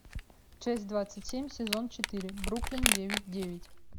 часть двадцать семь сезон четыре бруклин девять девять